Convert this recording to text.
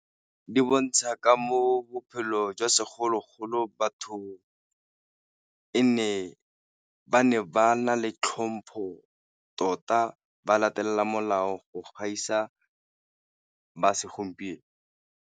Di bontsha ka moo bophelo jwa segologolo batho e ne ba ne ba na le tlhompho tota, ba latelela molao go gaisa ba segompieno.